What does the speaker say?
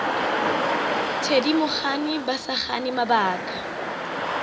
thedimogane ba sa gane mabaka